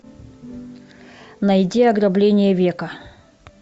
найди ограбление века